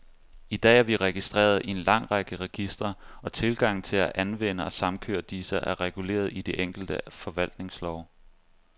I dag er vi registreret i en lang række registre, og tilgangen til at anvende og samkøre disse, er reguleret i de enkelte forvaltningslove.